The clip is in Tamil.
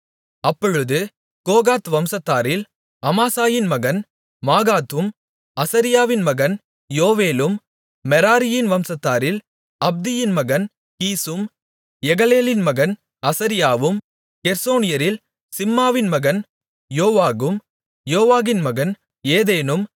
அப்பொழுது கோகாத் வம்சத்தாரில் அமாசாயின் மகன் மாகாத்தும் அசரியாவின் மகன் யோவேலும் மெராரியின் வம்சத்தாரில் அப்தியின் மகன் கீசும் எகலேலின் மகன் அசரியாவும் கெர்சோனியரில் சிம்மாவின் மகன் யோவாகும் யோவாகின் மகன் ஏதேனும்